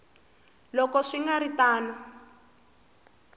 loko swi nga ri tano